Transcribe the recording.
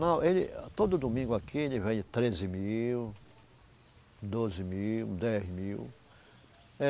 Não, ele, todo domingo aqui, ele vende treze mil, doze mil, dez mil.